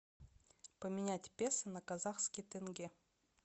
поменять песо на казахский тенге